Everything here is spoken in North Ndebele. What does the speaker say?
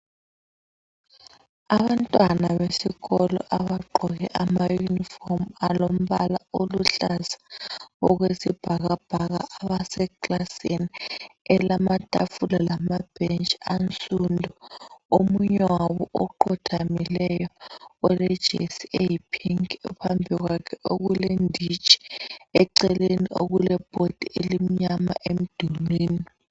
Abantwana besikolo abagqoke amayunifomu alombala oluhlaza okwesibhakabhaka, abasekilasini elamatafula lamabhentshi ansundu omunye wabo oqotshamileyo olejesi eyiphinki phambi kwakhe okule nditshi eceleni kule bhodi emnyama emdulwini.